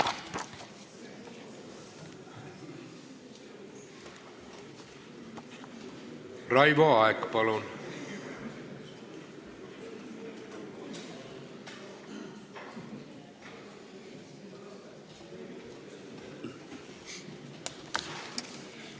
Raivo Aeg, palun!